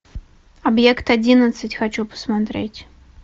объект одиннадцать хочу посмотреть